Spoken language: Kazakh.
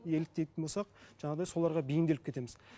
еліктейтін болсақ жаңағыдай соларға бейімделіп кетеміз